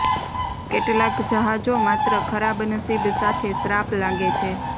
કેટલાક જહાજો માત્ર ખરાબ નસીબ સાથે શ્રાપ લાગે છે